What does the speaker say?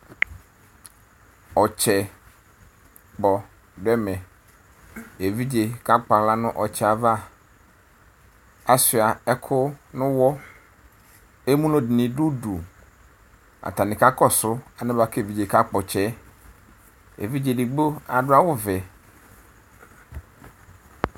Ɔtsɛ kpɔ dʋ ɛmɛ Eviɖze kakpɔ aɣla nʋ ɔtsɛ yɛ ava, asʋa ɛkʋ nʋ wʋ Emlo dini dʋdu atani kakɔsʋ ale bua k'evidze kakpɔ tsɛ yɛ Evidze digbo adʋ awʋ vɛ